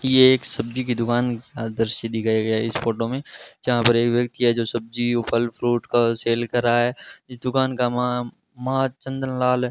ये एक सब्जी की दुकान दृश्य दिखाया गया है इस फोटो में जहां पर एक व्यक्ति है जो सब्जी फल फ्रूट का सेल कर रहा है इस दुकान का नाम मां मां चंद्रलाल--